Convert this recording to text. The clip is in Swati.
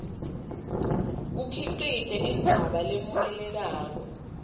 kukhicite indzaba lemukelekako